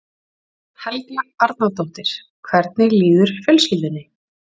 Helga Arnardóttir: Hvernig líður fjölskyldunni?